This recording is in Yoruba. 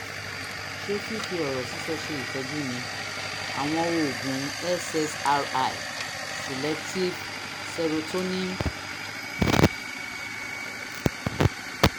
ṣé fífi ọ̀rọ̀ sísọ ṣe ìtọ́jú ni? àwọn oògùn ssri (selective serotonin reuptake inhibitors)